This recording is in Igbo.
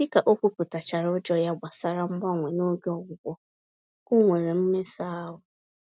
Dịka ókwúpụta chárá ụjọ ya gbasara mgbanwe n'oge ọgwụgwọ, onwere mmesa-ahụ